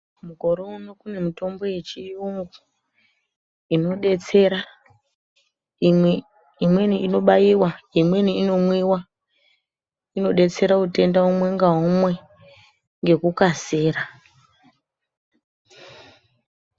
Mukore uno kune mitombo yechiyungu inodetsera imweni inobaiwa imweni inomwiwa inodetsera utenda umwe ngaumwe ngekukasira.